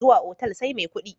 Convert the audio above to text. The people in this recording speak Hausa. Zuwa otal sai mai kudi.